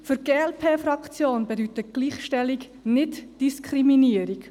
Für die glp-Fraktion bedeutet Gleichstellung Nicht-Diskriminierung.